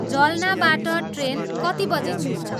जल्नाबाट train कति बजी छुट्छ